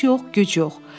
İş yox, güc yox.